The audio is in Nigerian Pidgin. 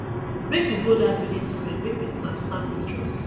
make we go that village square make we snap snap pictures